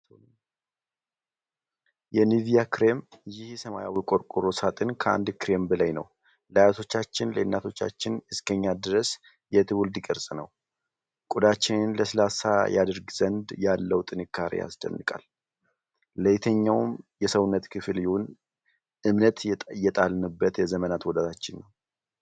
የኒቪያ ክሬም! ይሄ ሰማያዊ ቆርቆሮ ሳጥን ከአንድ ክሬም በላይ ነው! ለአያቶቻችን፣ ለእናቶቻችን፣ እስከ ኛ ድረስ የትውልድ ቅርስ ነው! ቆዳችንን ለስላሳ ያደርግ ዘንድ ያለው ጥንካሬ ያስደንቃል። ለየትኛውም የሰውነት ክፍል ይሁን፣ እምነት የጣልንበት የዘመናት ወዳጃችን ነው!